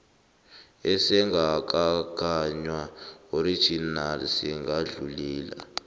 esingakagaywa original singadluli